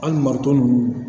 An maronnu